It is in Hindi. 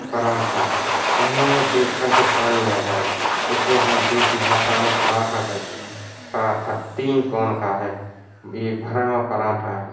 पराठा मुँह मे देख कर के पानी आ जाए इसे हम देसी भाषा मे पराठा कहते है पराठा तीन कोण का है यह भरा हुआ पराठा है।